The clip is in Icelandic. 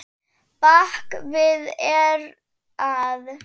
Bak við eyrað.